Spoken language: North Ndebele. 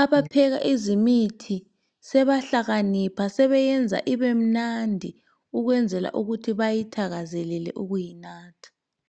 abepheka ezemithi sebahlakanipha sebeyenza ibemnandi ukwenzela ukuthi bayithakazelele ukuyinatha